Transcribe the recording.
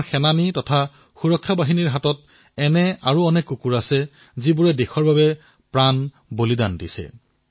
আমাৰ সেনা বাহিনীত আমাৰ সুৰক্ষাবাহিনীত এনে কিমান বাহাদুৰ কুকুৰ আছে যিয়ে দেশৰ বাবে নিজৰ প্ৰাণো বলিদান দিছে